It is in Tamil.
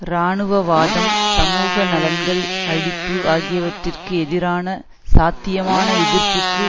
இராணுவவாதம் சமூக நலன்கள் அழிப்பு ஆகியவற்றிக்கு எதிரான சாத்தியமான எதிர்ப்புக்கு